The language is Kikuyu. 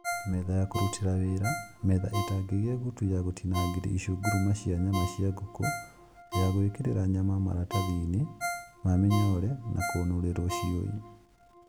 Metha ya kũrutĩra wĩra: metha ĩtangĩgĩa gutu ya gũtinangagĩrio icunguruma cia nyama cia ngũkũ, ya gwĩkĩrĩra nyama maratathi-inĩ ma mĩnyore na kũnũrĩrwo ciũi.